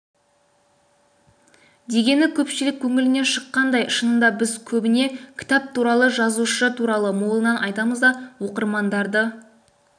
дегені көпшілік көңілінен шыққандай шынында біз көбіне кітап туралы жазушы туралы молынан айтамыз да оқырмандарды